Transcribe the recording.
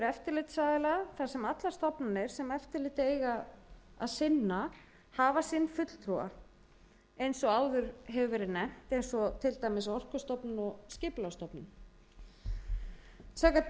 eftirlitsaðila þar sem allar stofnanir sem eftirlit eiga að sinna hafa sinn fulltrúa eins og áður hefur verið nefnt eins og áður hefur verið nefnt eins og til dæmis orkustofnun og skipulagsstofnun samkvæmt tillögu að